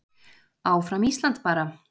Áfram Ísland bara.